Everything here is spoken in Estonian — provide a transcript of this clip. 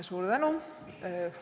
Suur tänu!